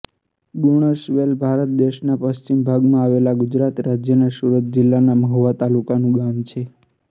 ગુણસવેલ ભારત દેશના પશ્ચિમ ભાગમાં આવેલા ગુજરાત રાજ્યના સુરત જિલ્લાના મહુવા તાલુકાનું ગામ છે